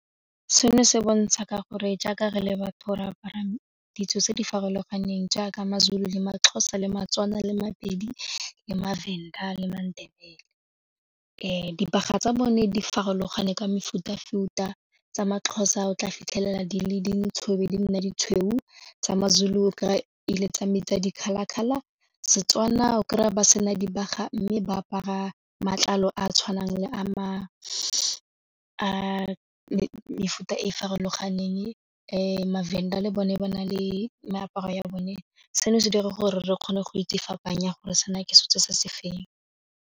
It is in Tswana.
Seno se bontsha ka gore jaaka re le batho re apara ditso tse di farologaneng jaaka maZulu le maXhosa le maTswana le maPedi le maVenda le maNdebele. Dibaga tsa bone di farologane ka mefuta futa, tsa maXhosa o tla fitlhelela di le dintsho ebe di nne ditshweu tsa maZulu kry-a ele tsa metsi a di-colour colour, Setswana o kry-a ba sena dibaga mme ba apara matlalo a a tshwanang le a mefuta e farologaneng maVenda le bone ba na le meaparo ya bone, seno se dira gore re kgone go itse fapanya gore sena ke setso se se feng.